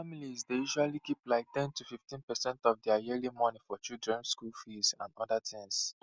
families dey usually keep like ten to 15 percent of their yearly moni for children school fees and other things